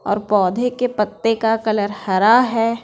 और पौधे के पत्ते का कलर हरा है।